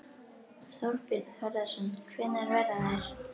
Þorbjörn Þórðarson: Hvenær verða þær?